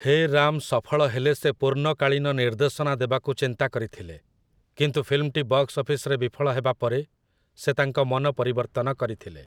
ହେ ରାମ୍‌' ସଫଳ ହେଲେ ସେ ପୂର୍ଣ୍ଣକାଳୀନ ନିର୍ଦ୍ଦେଶନା ଦେବାକୁ ଚିନ୍ତା କରିଥିଲେ, କିନ୍ତୁ ଫିଲ୍ମଟି ବକ୍ସ ଅଫିସରେ ବିଫଳ ହେବା ପରେ ସେ ତାଙ୍କ ମନ ପରିବର୍ତ୍ତନ କରିଥିଲେ ।